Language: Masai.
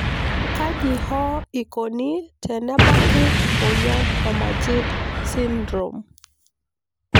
kaji hoo ikoni tenebaki emoyian e majeed sydrome?